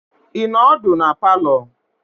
Ị nọ ọdụ na palọ?